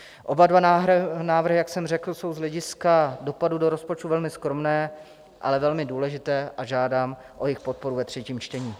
Oba dva návrhy, jak jsem řekl, jsou z hlediska dopadu do rozpočtu velmi skromné, ale velmi důležité, a žádám o jejich podporu ve třetím čtení.